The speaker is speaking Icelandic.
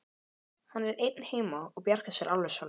Hann er einn heima og bjargar sér alveg sjálfur.